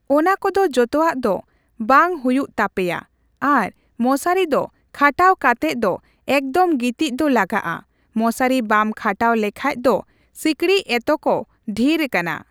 ᱚᱱᱟ ᱠᱚᱫᱚ ᱡᱚᱛᱚᱣᱟᱜ ᱫᱚ ᱵᱟᱝ ᱦᱩᱭᱩᱜ ᱛᱟᱯᱮᱭᱟ ᱟᱨ ᱢᱚᱥᱟᱨᱤ ᱫᱚ ᱠᱷᱟᱴᱟᱣ ᱠᱟᱛᱮᱜ ᱫᱚ ᱮᱠᱫᱚᱢ ᱜᱤᱛᱤᱪ ᱫᱚ ᱞᱟᱜᱟᱜᱼᱟ ᱢᱚᱥᱟᱨᱤ ᱵᱟᱢ ᱠᱷᱟᱴᱟᱣ ᱞᱮᱠᱷᱟᱡ ᱫᱚ ᱥᱤᱠᱲᱤᱡ ᱮᱛᱚ ᱠᱚ ᱰᱷᱤᱨ ᱠᱟᱱᱟ